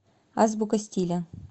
азбука стиля